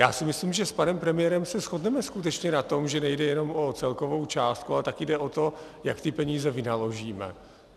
Já si myslím, že s panem premiérem se shodneme skutečně na tom, že nejde jenom o celkovou částku, ale taky jde o to, jak ty peníze vynaložíme.